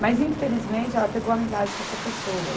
Mas, infelizmente, ela pegou amizade com essa pessoa.